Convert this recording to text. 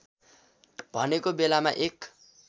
भनेको बेलामा एक